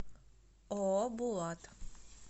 ооо булат